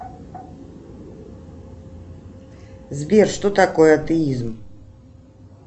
сбер что такое атеизм